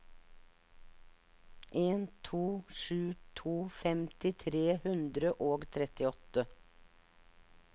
en to sju to femti tre hundre og trettiåtte